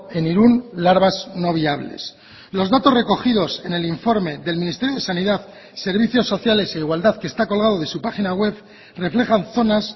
en irún larvas no viables los datos recogidos en el informe del ministerio de sanidad servicios sociales e igualdad que está colgado de su página web reflejan zonas